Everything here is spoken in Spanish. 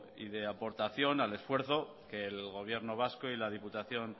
y de aportación al esfuerzo que el gobierno vasco y la diputación